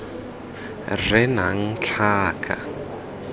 r e e nnang tlhaka